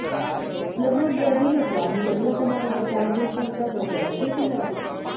लग्नात गर्दी नको आणि लग्न समारंभ चार दिवसांचा नको असेही तिला वाटते